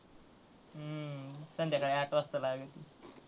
हम्म संध्याकाळी आठ वाजता लागती.